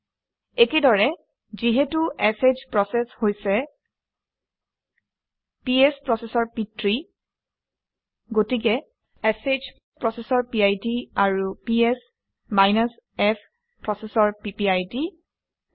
একেদৰে যিহেতু sh process হৈছে পিএছ প্ৰচেচৰ পিতৃ গতিকে শ প্ৰচেচৰ পিড আৰু পিএছ -f প্ৰচেচৰ পিপিআইডি একে